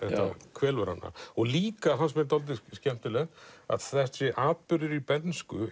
kvelur hana líka fannst mér dálítið skemmtilegt þessi atburður í bernsku